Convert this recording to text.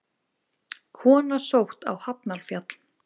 Kona sótt á Hafnarfjall